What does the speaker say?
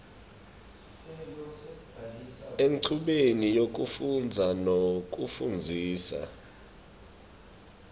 enchubeni yekufundza nekufundzisa